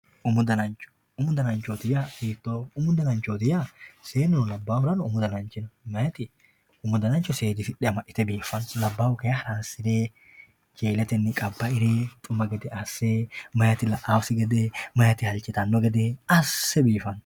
umu danancho umu dananchooti yaa hiitooho umu dananchooti yaa seenuno labbahurano umu dananchi no meeyaati umu danancho seedisixxe amaxxite biffanno labbahu kayi haransire jeeletenni qabbaire xuma gede asse meeyaati la'asi gede meeyaati halchitanno gede asse biifano.